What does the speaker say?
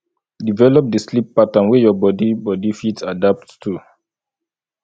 develop di sleep pattern wey your bodi bodi fit adapt to